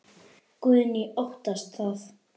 Guðný: Óttastu það?